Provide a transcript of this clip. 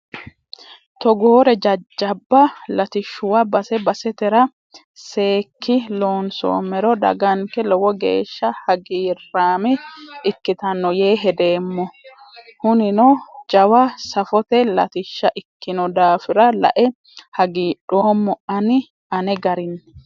Togoore jajjabba latishshuwa base basetera seekki loonsommero daganke lowo geeshsha hagiirame ikkittano yee hedeemmo hunino jawa safote latishsha ikkino daafira lae hagiidhoommo ani ane garinni.